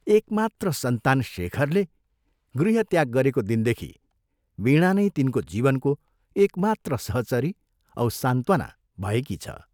एकमात्र सन्तान शेखरले गृहत्याग गरेको दिनदेखि वीणा नै तिनको जीवनको एकमात्र सहचरी औ सान्त्वना भएकी छ।